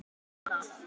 Munar um minna.